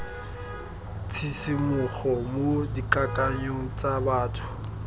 tshisimogo mo dikakanyong tsa batho